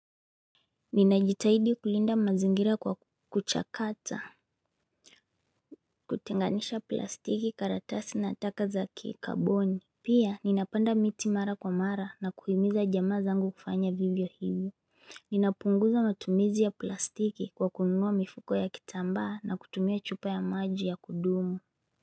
Ninajitahidi kulinda mazingira kwa kuchakata kutenganisha plastiki karatasi na taka za kikaboni. Pia ninapanda miti mara kwa mara na kuhimiza jamaa zangu kufanya vivyo hivyo Ninapunguza matumizi ya plastiki kwa kununua mifuko ya kitambaa na kutumia chupa ya maji ya kudumu.